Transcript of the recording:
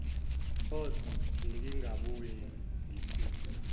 horse bengingabuye ngithini